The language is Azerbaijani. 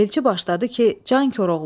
Elçi başladı ki, can Koroğlu.